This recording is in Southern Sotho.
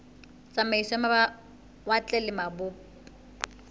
tsamaiso ya mawatle le mabopo